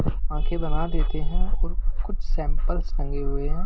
आंखें बना देते हैंऔर कुछ सैंपल्स लंगे हुए हैं।